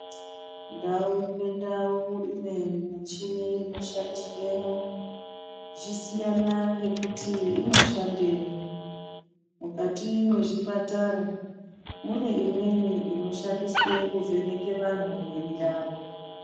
Ndau ngendau one michini inoshandiswemwo zvichisiyana ngekuti inoshandiswei, mukati mwezvipatara mune imweni inoshandiswa kuvheneke vanthu mwiri yavo.